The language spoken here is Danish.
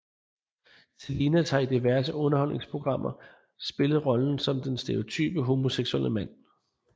Salinas har i diverse underholdningsprogrammer spillet rollen som den stereotype homoseksuelle mand